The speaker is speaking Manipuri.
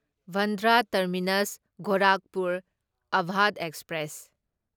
Bandra terminus Gorakhpur Awadh express